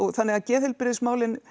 þannig að geðheilbrigðismálin